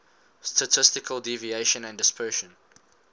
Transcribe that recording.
statistical deviation and dispersion